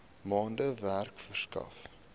maande werk verskaf